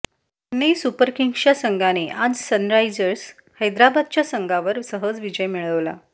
Chennai super किंग्सच्या संघाने आज सनरायझर्स हैदराबादच्या संघावर सहज विजय मिळवला